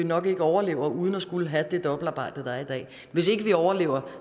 nok vi overlever uden at skulle have det dobbeltarbejde der er i dag hvis ikke vi overlever